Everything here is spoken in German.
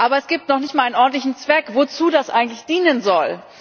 Aber es gibt noch nicht mal einen ordentlichen Zweck, wozu das eigentlich dienen soll.